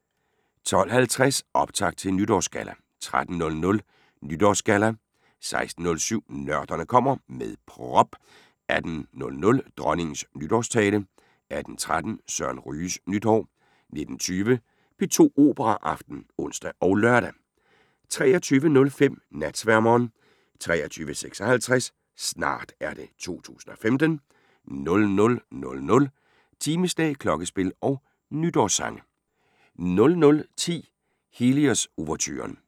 12:50: Optakt til Nytårsgalla 13:00: Nytårsgalla 16:07: Nørderne kommer – med prop 18:00: Dronningens nytårstale 18:13: Søren Ryges nytår 19:20: P2 Operaaften (ons og lør) 23:05: Natsværmeren 23:56: Snart er det 2015 00:00: Timeslag, klokkespil og nytårssange 00:10: Helios-ouverturen